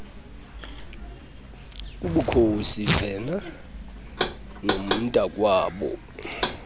ubukhosi vena nomntakwabo